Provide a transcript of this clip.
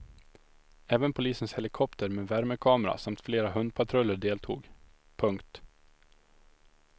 Även polisens helikopter med värmekamera samt flera hundpatruller deltog. punkt